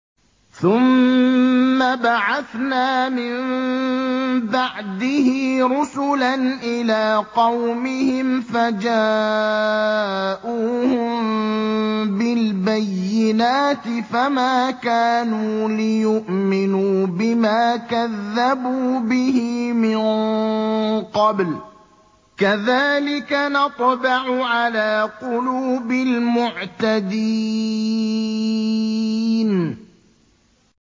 ثُمَّ بَعَثْنَا مِن بَعْدِهِ رُسُلًا إِلَىٰ قَوْمِهِمْ فَجَاءُوهُم بِالْبَيِّنَاتِ فَمَا كَانُوا لِيُؤْمِنُوا بِمَا كَذَّبُوا بِهِ مِن قَبْلُ ۚ كَذَٰلِكَ نَطْبَعُ عَلَىٰ قُلُوبِ الْمُعْتَدِينَ